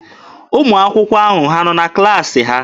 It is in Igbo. Ụmụ akwụkwọ ahụ ha nọ na klaasị ha?